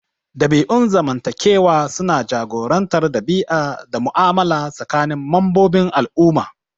Dabi'un zamantakewa suna jagorantar ɗabi'a da mu'amala tsakanin membobin al'umma.